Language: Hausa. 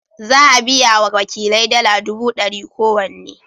Za a biya wa wakilai dala dubu dari kowanne.